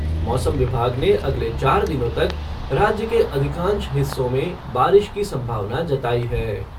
मौसम विभाग ने अगले चार दिनों तक राज्य के अधिकांश हिस्सों में बारिश की संभावना जताई है।